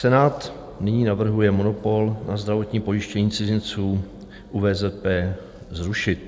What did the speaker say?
Senát nyní navrhuje monopol na zdravotní pojištění cizinců u VZP zrušit.